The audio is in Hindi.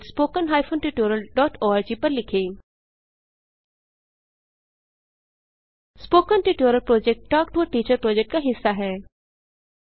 spoken tutorial project talk to a teacher project का हिस्सा है